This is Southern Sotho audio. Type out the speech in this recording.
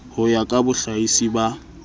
ho ya ka bohlahisi ba